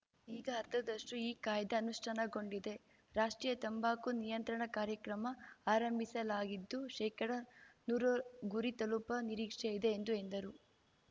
ಈಗ ಅರ್ಧದಷ್ಟುಈ ಕಾಯ್ದೆ ಅನುಷ್ಠಾನಗೊಂಡಿದೆ ರಾಷ್ಟ್ರೀಯ ತಂಬಾಕು ನಿಯಂತ್ರಣ ಕಾರ್ಯಕ್ರಮ ಆರಂಭಿಸಲಾಗಿದ್ದು ಶೇಕಡನೂರು ಗುರಿ ತಲುಪ ನಿರೀಕ್ಷೆ ಇದೆ ಎಂದು ಎಂದರು